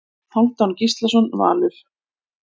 Hálfdán Gíslason Valur